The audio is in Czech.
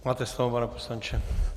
Máte slovo, pane poslanče.